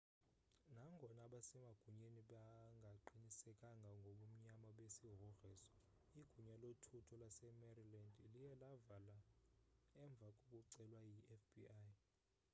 nangona abasemagunyeni bengaqinisekanga ngobunyani besigrogriso igunya lothutho lasemaryland liye lavala emva kokucelwa yifbi